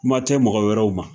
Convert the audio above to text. Kuma tɛ mɔgɔ wɛrɛw ma